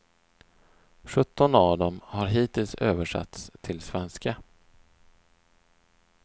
Sjutton av dem har hittills översatts till svenska.